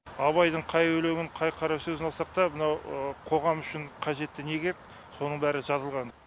абайдың қай өлеңін қай қара сөзін алсақ та мынау қоғам үшін қажетті не керек соның бәрі жазылған